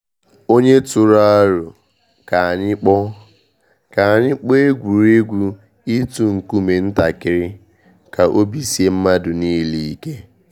Onye tụrụ aro ka anyị kpọọ ka anyị kpọọ egwuregwu itu nkume ntakịrị ka obi sie mmadụ niile ike.